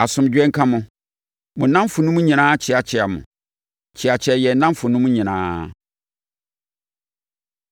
Asomdwoeɛ nka mo. Mo nnamfonom nyinaa kyeakyea mo. Kyeakyea yɛn nnamfonom nyinaa.